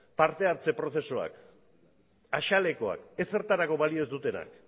parte hartze prozesuak ezertarako balio ez dutenak